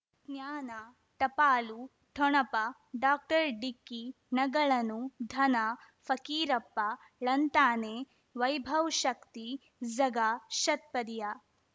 ಜ್ಞಾನ ಟಪಾಲು ಠೊಣಪ ಡಾಕ್ಟರ್ ಢಿಕ್ಕಿ ಣಗಳನು ಧನ ಫಕೀರಪ್ಪ ಳಂತಾನೆ ವೈಭವ್ ಶಕ್ತಿ ಝಗಾ ಷಟ್ಪದಿಯ